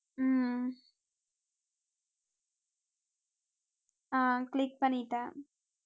ஹம் அஹ் click பண்ணிட்டேன்